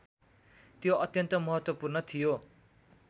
त्यो अत्यन्त महत्त्वपूर्ण थियो